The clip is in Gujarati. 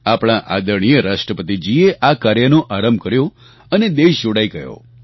આપણા આદરણીય રાષ્ટ્રપતિજીએ આ કાર્યનો આરંભ કર્યો અને દેશ જોડાઈ ગયો